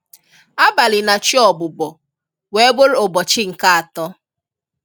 Abalị na chi ọbubọ, wee bụrụ ụbọchị nke atọ.